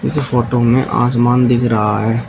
इस फोटो में आसमान दिख रहा है।